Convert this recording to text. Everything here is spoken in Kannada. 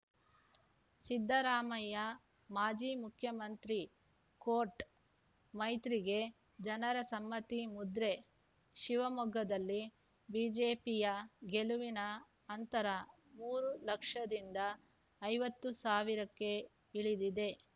ಸಿದ್ದರಾಮಯ್ಯ ಮಾಜಿ ಮುಖ್ಯಮಂತ್ರಿ ಕೋರ್ಟ್ ಮೈತ್ರಿಗೆ ಜನರ ಸಮ್ಮತಿ ಮುದ್ರೆ ಶಿವಮೊಗ್ಗದಲ್ಲಿ ಬಿಜೆಪಿಯ ಗೆಲುವಿನ ಅಂತರ ಮೂರು ಲಕ್ಷದಿಂದ ಐವತ್ತು ಸಾವಿರಕ್ಕೆ ಇಳಿದಿದೆ